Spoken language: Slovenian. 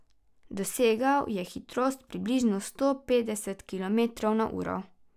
Dosegal je hitrost približno sto petdeset kilometrov na uro.